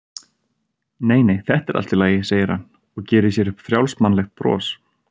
Nei, nei, þetta er allt í lagi, segir hann og gerir sér upp frjálsmannlegt bros.